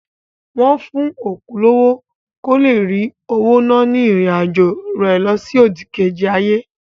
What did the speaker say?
Wọ́n fún òkú lówó kó le rí owó ná ní ìrìn àjọ̀ rẹ lọsí òdìkejì ayé.